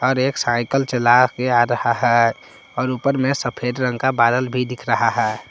और एक साइकिल चला के आ रहा है और ऊपर में सफेद रंग का बादल भी दिख रहा है।